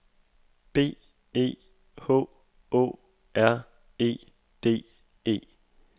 B E H Å R E D E